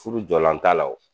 Furu jɔlan t'a la wo.